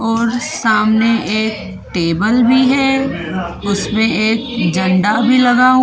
और सामने एक टेबल भी है उसमें एक झंडा भी लगा हुआ--